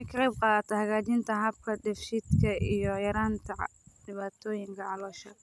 Waxay ka qaybqaadataa hagaajinta habka dheef-shiidka iyo yaraynta dhibaatooyinka caloosha.